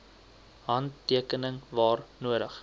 handtekening waar nodig